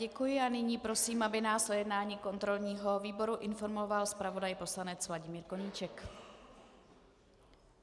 Děkuji a nyní prosím, aby nás o jednání kontrolního výboru informoval zpravodaj poslanec Vladimír Koníček.